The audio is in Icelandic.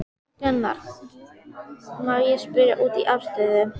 Gunnar: Má ég spyrja út í afstöðu?